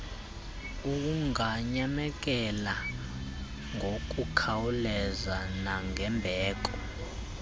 unganyamekela kngokukhawuleza nangembeko